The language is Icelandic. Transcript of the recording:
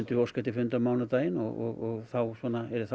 við óska eftir fundi á mánudaginn og þá yrði það